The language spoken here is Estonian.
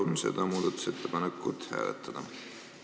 Palun seda muudatusettepanekut hääletada!